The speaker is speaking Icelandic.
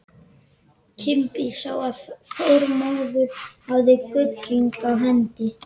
Kimbi sá að Þormóður hafði gullhring á hendi.